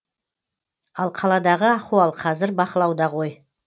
ал қаладағы ахуал қазір бақылауда ғой